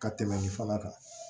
Ka tɛmɛ nin fana kan